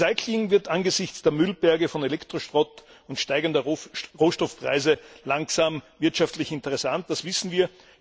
Recycling wird angesichts der Müllberge von Elektroschrott und steigender Rohstoffpreise langsam wirtschaftlich interessant, das wissen wir.